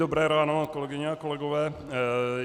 Dobré ráno, kolegyně a kolegové.